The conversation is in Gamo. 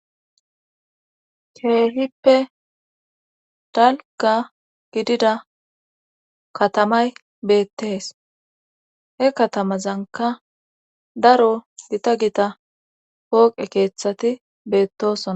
Ceehippe dalga gidida katamay beettees he katamazanka daro gita gita pooqe keeththati beettosona.